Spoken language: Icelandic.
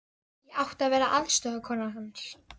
Ég átti að vera aðstoðarkona hans.